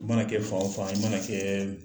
I mana kɛ fan o fan i mana kɛ